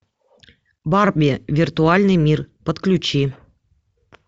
барби виртуальный мир подключи